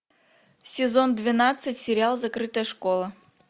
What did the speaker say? сезон двенадцать сериал закрытая школа